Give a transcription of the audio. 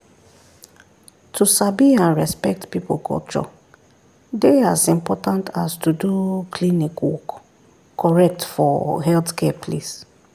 to sabi and respect people culture dey as important as to do klinik work correct for healthcare place.